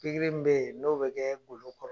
Pikiri min be ye n'o be kɛɛ golo kɔrɔ